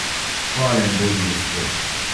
Hvaljen bodi Gospod!